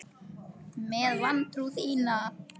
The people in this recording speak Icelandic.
Með vantrú þína.